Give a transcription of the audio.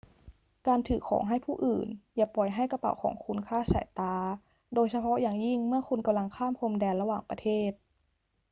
การถือของให้ผู้อื่น อย่าปล่อยให้กระเป๋าของคุณคลาดสายตา โดยเฉพาะอย่างยิ่งเมื่อคุณกำลังข้ามพรมแดนระหว่างประเทศ